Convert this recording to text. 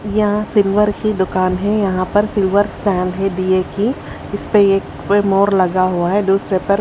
यहां सिल्वर की दुकान है यहां पर सिल्वर स्टैंड है दिये की इसपे एक पे मोर लगा हुआ है दूसरे पर--